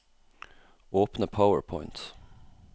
Åpne PowerPoint